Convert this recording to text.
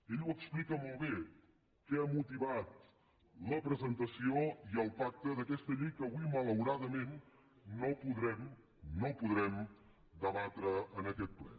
ell ho explica molt bé què ha motivat la presentació i el pacte d’aquesta llei que avui malauradament no podrem debatre en aquest ple